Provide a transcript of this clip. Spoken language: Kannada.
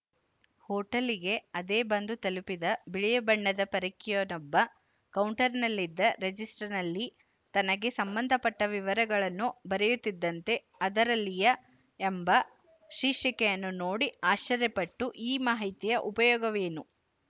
ಹೊಟೆಲ್ಲಿಗೆ ಅದೇ ಬಂದು ತಲುಪಿದ ಬಿಳಿಯ ಬಣ್ಣದ ಪರಕೀಯನೊಬ್ಬಕೌಂಟರಿನಲ್ಲಿದ್ದ ರೆಜಿಸ್ಟರಿನಲ್ಲಿ ತನಗೆ ಸಂಬಂಧಪಟ್ಟ ವಿವರಗಳನ್ನು ಬರೆಯುತ್ತಿದ್ದಂತೆ ಅದರಲ್ಲಿಯ ಎಂಬ ಶೀರ್ಷಿಕೆಯನ್ನು ನೋಡಿ ಆಶ್ಚರ್ಯಪಟ್ಟು ಈ ಮಾಹಿತಿಯ ಉಪಯೋಗವೇನು